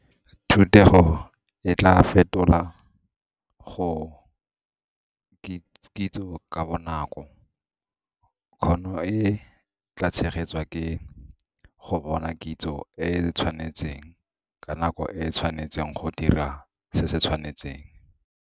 Thutego e tlaa fetola go kitso ka bonako. Kgono e tlaa tshegetswa ke go bona kitso e e tshwanetseng ka nako e e tshwanetseng go dira se se tshwanetseng.